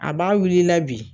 A b'a wul'i la bi.